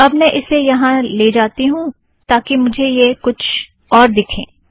तो अब मैं इसे यहाँ ले जाती हूँ ताकि मुझे यह कुछ और दिखे